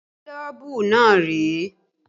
Gílóbú náà rèé